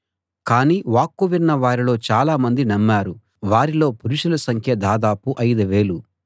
కానీ వాక్కు విన్న వారిలో చాలామంది నమ్మారు వారిలో పురుషుల సంఖ్య దాదాపు ఐదు వేలు